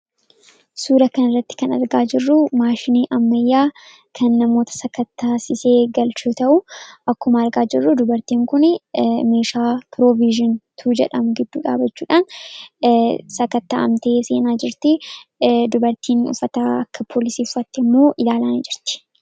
Suura kan irratti kan argaa jirru maashinii ammayyaa kan namoota sakattaasisee galchaa jiru yoo ta'u, akkuma argaa jirru dubartiin kun meeshaa Piroovizhin tuwuu jedhamu giddu dhaabachuudhaan sakatta'amtee seenaa jirtu, dubartiin uffataa akka poolisii uffatte immoo ilaalaa jirti.